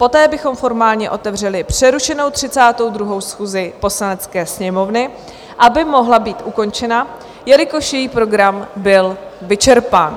Poté bychom formálně otevřeli přerušenou 32. schůzi Poslanecké sněmovny, aby mohla být ukončena, jelikož její program byl vyčerpán.